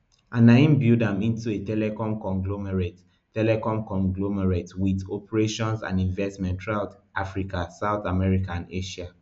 and im build am into a telecom conglomerate telecom conglomerate wit operations and investments throughout africa south america and asia